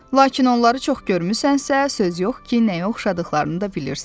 Lakin onları çox görmüsənsə, söz yox ki, nəyə oxşadıqlarını da bilirsən.